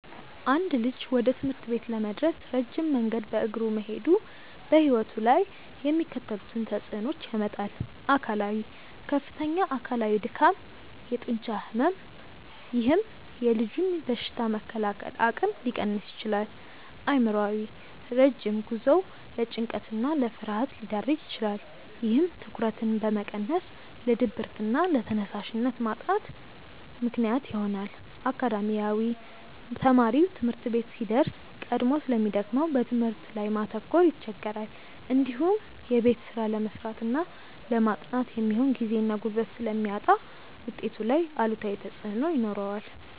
አንድ ልጅ ወደ ትምህርት ቤት ለመድረስ ረጅም መንገድ በእግሩ መሄዱ በሕይወቱ ላይ የሚከተሉትን ተጽዕኖዎች ያመጣል፦ አካላዊ፦ ከፍተኛ አካላዊ ድካም፣ የጡንቻ ሕመም፥፥ ይህም የልጁን በሽታ የመከላከል አቅም ሊቀንስ ይችላል። አእምሯዊ፦ ረጅም ጉዞው ለጭንቀትና ለፍርሃት ሊዳርግ ይችላል። ይህም ትኩረትን በመቀነስ ለድብርትና ለተነሳሽነት ማጣት ምክንያት ይሆናል። አካዳሚያዊ፦ ተማሪው ትምህርት ቤት ሲደርስ ቀድሞ ስለሚደክመው በትምህርቱ ላይ ማተኮር ይቸገራል። እንዲሁም የቤት ስራ ለመስራትና ለማጥናት የሚሆን ጊዜና ጉልበት ስለሚያጣ ውጤቱ ላይ አሉታዊ ተጽዕኖ ይኖረዋል።